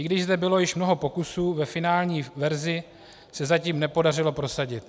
I když zde bylo již mnoho pokusů, ve finální verzi se zatím nepodařilo prosadit.